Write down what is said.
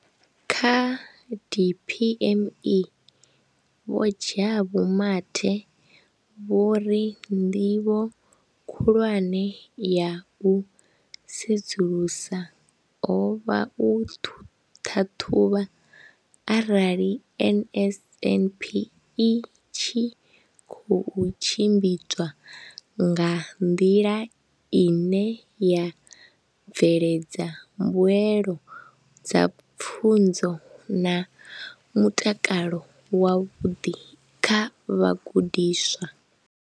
Kha DPME, Vho Jabu Mathe, vho ri ndivho khulwane ya u sedzulusa ho vha u ṱhaṱhuvha arali NSNP i tshi khou tshimbidzwa nga nḓila ine ya bveledza mbuelo dza pfunzo na mutakalo wavhuḓi kha vhagudiswa.